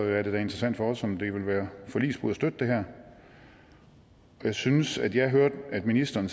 det da interessant for os om det vil være forligsbrud at støtte det her jeg synes at jeg hørte ministeren